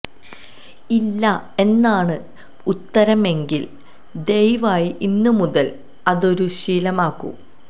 ഇല്ല എന്നാണ് ഉത്തരമെങ്കില് ദയവായി ഇന്ന് മുതല് അതൊരു ശീലമാക്കു